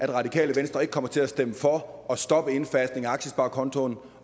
det radikale venstre ikke kommer til at stemme for at stoppe indfasningen af aktiesparekontoen